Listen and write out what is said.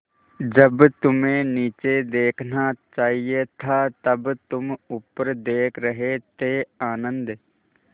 जब तुम्हें नीचे देखना चाहिए था तब तुम ऊपर देख रहे थे आनन्द